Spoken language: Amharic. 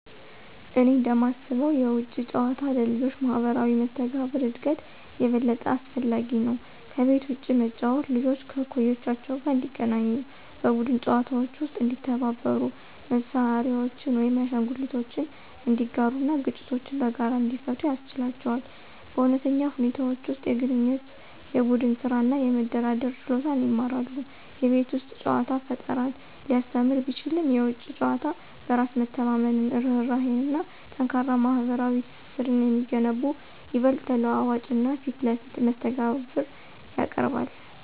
እኔ እንደማስበው የውጪ ጨዋታ ለልጆች ማህበራዊ መስተጋብር እድገት የበለጠ አስፈላጊ ነው። ከቤት ውጭ መጫወት ልጆች ከእኩዮቻቸው ጋር እንዲገናኙ, በቡድን ጨዋታዎች ውስጥ እንዲተባበሩ, መሳሪያዎችን ወይም አሻንጉሊቶችን እንዲጋሩ እና ግጭቶችን በጋራ እንዲፈቱ ያስችላቸዋል. በእውነተኛ ሁኔታዎች ውስጥ የግንኙነት፣ የቡድን ስራ እና የመደራደር ችሎታን ይማራሉ። የቤት ውስጥ ጨዋታ ፈጠራን ሊያስተምር ቢችልም፣ የውጪ ጨዋታ በራስ መተማመንን፣ ርህራሄን እና ጠንካራ ማህበራዊ ትስስርን የሚገነቡ ይበልጥ ተለዋዋጭ እና ፊት ለፊት መስተጋብር ያቀርባል።